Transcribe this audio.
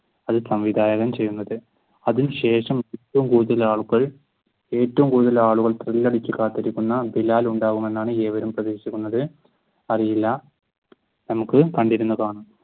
അത് സംവിധാനം ചെയ്യുന്നത്. അതിനു ശേഷം ഏറ്റവും കൂടുതൽ ആളുകൾ ഏറ്റവും കൂടുതൽ ആളുകൾ thrill അടിച്ചു കാത്തുനിൽക്കുന്ന ബിലാൽ ഉണ്ടാവുമെന്നാണ് ഏവരും പ്രതീക്ഷിക്കുന്നത്. അറിയില്ല. നമുക്ക് കണ്ടിരുന്നു